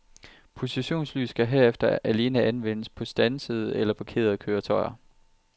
Positionslys kan herefter alene anvendes på standsede eller parkerede køretøjer.